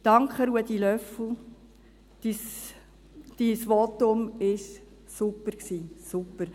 Danke, Ruedi Löffel: Ihr Votum war super, super!